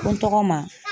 Ko n tɔgɔ ma